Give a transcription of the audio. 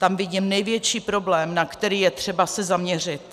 Tam vidím největší problém, na který je třeba se zaměřit.